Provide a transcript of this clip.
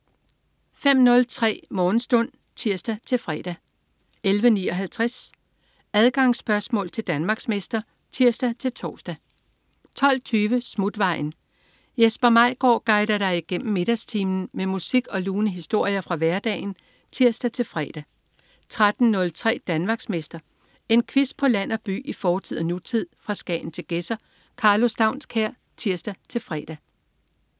05.03 Morgenstund (tirs-fre) 11.59 Adgangsspørgsmål til Danmarksmester (tirs-tors) 12.20 Smutvejen. Jesper Maigaard guider dig igennem middagstimen med musik og lune historier fra hverdagen (tirs-fre) 13.03 Danmarksmester. En quiz på land og by, i fortid og nutid, fra Skagen til Gedser. Karlo Staunskær (tirs-fre)